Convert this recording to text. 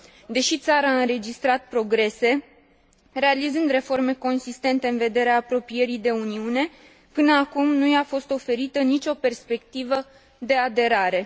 Deși țara a înregistrat progrese, realizând reforme consistente în vederea apropierii de Uniune, până acum nu i a fost oferită nicio perspectivă de aderare.